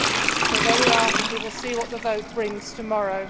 So there we are we will see what the vote brings tomorrow.